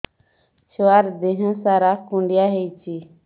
ଛୁଆର୍ ଦିହ ସାରା କୁଣ୍ଡିଆ ହେଇଚି